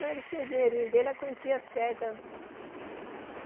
Não, ele tinha o dinheirinho dele, a quantia certa.